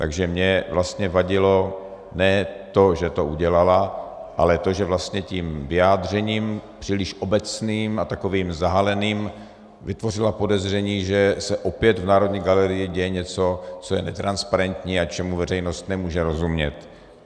Takže mě vlastně vadilo ne to, že to udělala, ale to, že vlastně tím vyjádřením příliš obecným a takovým zahaleným vytvořila podezření, že se opět v Národní galerii děje něco, co je netransparentní a čemu veřejnost nemůže rozumět.